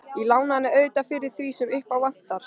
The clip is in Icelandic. Ég lána henni auðvitað fyrir því sem upp á vantar.